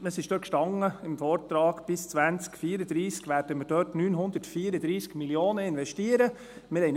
Dort stand im Vortrag, dass wir bis 2034 934 Mio. Franken investieren werden.